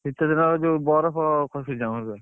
ଶୀତଦିନେ ବରଫ ଖସୁଛି ଆମର ପୁରା।